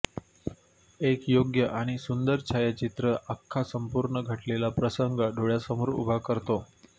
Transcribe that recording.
एक योग्य आणि सुंदर छायाचित्र आख्खा संपूर्ण घडलेला प्रसंग डोळ्यासमोर उभा करतो